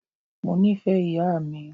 Mó nìfẹ ìyà mi.